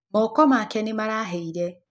Moko make nĩ marahĩire.